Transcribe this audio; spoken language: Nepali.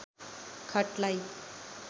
खटलाई